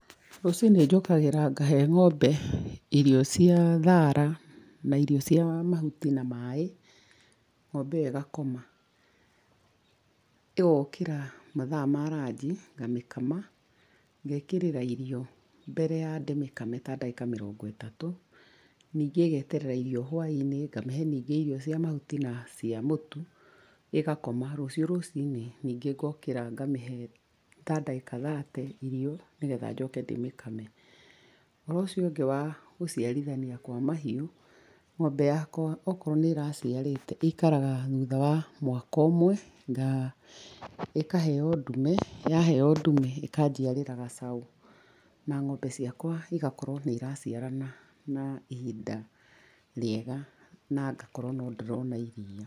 Rũcinĩ njũkagĩra ngahe ng'ombe irio cia thara na irio cia mahuti na maĩ ng'ombe ĩyo ĩgakoma ĩgokĩra mathaa ma ranji ngamĩkama, ngekĩrĩra irio mbere ya ndĩmĩkame ta ndagĩka mĩrongo ĩtatũ. Ningĩ ĩgeterera irio hũaĩnĩ ngamĩhe ningĩ irio cia mahuti na cia mũtu ĩgakoma rũcio rũcinĩ ningĩ ngokĩra ngamĩhe ta ndagĩka ta thate irio, ni getha njoke ndĩmĩkame. Ũhoro ũcio ũngĩ wa gũciarithania kwa mahiũ, ng'ombe yakwa okorwo nĩ ĩraciarĩte ĩikaraga thuta wa mwaka ũmwe, ĩkaheo ndume, yaheo ndume ĩkanjiarĩra gacaũ na ng'ombe ciakwa igakorwo nĩ iraciarana na ihinda rĩega na ngakorwo no ndĩrona iriia.